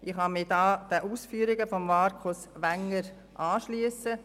Ich kann mich den Ausführungen von Markus Wenger anschliessen.